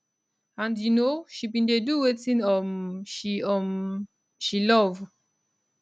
and you know she bin dey do wetin um she um she love